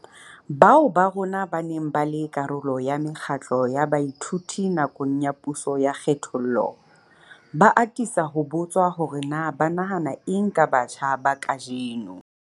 Bao ba rona ba neng ba le karolo ya mekgatlo ya baithuti nakong ya puso ya kgethollo, ba atisa ho botswa hore na ba nahana eng ka batjha ba kajeno.